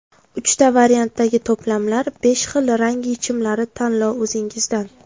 Uchta variantdagi to‘plamlar, besh xil rang yechimlari tanlov o‘zingizdan!